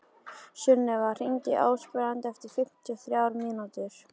Sunnefa, hringdu í Ásbrand eftir fimmtíu og þrjár mínútur.